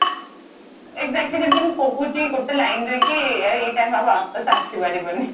exactly ଯେମିତି ମୁଁ କହୁଛି ଗୋଟେ ଲିନେ ରେ କି ଏଇ time ଆଉ ୱାପସ ଆସି ପାରିବନି